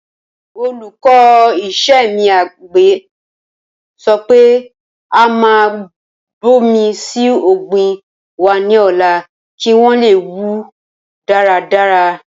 Olùkọ́ iṣẹ́ àgbẹ̀ sọ pé a máa bomi síí ọ̀gbìn wa ní ọ̀la kí wọn leè wù dára dára